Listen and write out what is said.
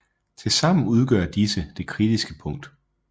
Tilsammen udgør disse det kritiske punkt